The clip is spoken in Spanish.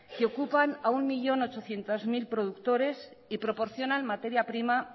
que ocupan a un millón ochocientos mil productores y proporcionan materia prima